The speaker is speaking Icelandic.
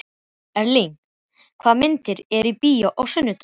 Erling, hvaða myndir eru í bíó á sunnudaginn?